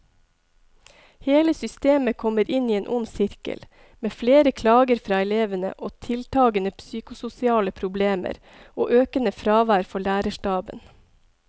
Hele systemet kommer inn i en ond sirkel, med flere klager fra elevene og tiltagende psykososiale problemer og økende fravær for lærerstaben.